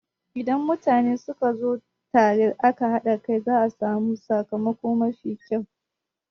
In mutane suka zo tare aƙa haɗa ƙai, za a samu sakamako mafi ƙyau.